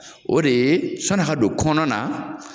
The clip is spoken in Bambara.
O de ye sɔni a ka don kɔnɔ na